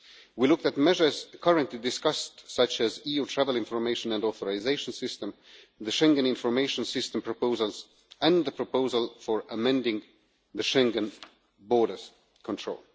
We looked at measures currently discussed, such as the EU Travel Information and Authorisation System, the Schengen Information System proposals and the proposal for amending the Schengen Borders Control.